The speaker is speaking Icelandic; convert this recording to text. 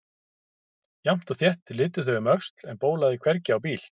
Jafnt og þétt litu þau um öxl en bólaði hvergi á bíl.